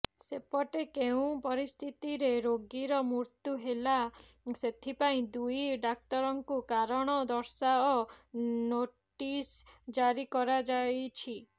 ସେପଟେ କେଉଁ ପରିସ୍ଥିତିରେ ରୋଗୀର ମୃତ୍ୟୁ ହେଲା ସେଥିପାଇଁ ଦୁଇ ଡାକ୍ତରଙ୍କୁ କାରଣ ଦର୍ଶାଅ ନୋଟିସ୍ ଜାରି କରାଯାଇଛି